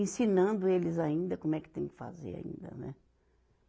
Ensinando eles ainda como é que tem que fazer ainda, né?